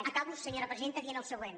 acabo senyora presidenta dient el següent